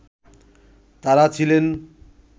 তারা ছিলেন